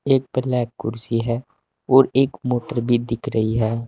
एक ब्लैक कुर्सी है और एक मोटर भी दिख रही है।